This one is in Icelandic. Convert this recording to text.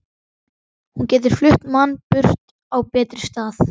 Hún getur flutt mann burt á betri stað.